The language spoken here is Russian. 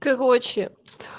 короче